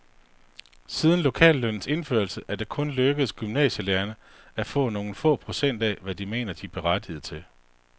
Siden lokallønnens indførelse er det kun lykkedes gymnasielærerne at få nogle få procent af, hvad de mener sig berettiget til.